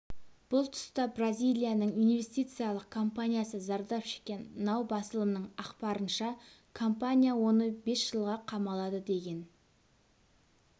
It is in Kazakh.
бұл тұста бразилияның инвестициялық компаниясы зардап шеккен нау басылымының ақпарынша компания оны бес жылға қамалады деген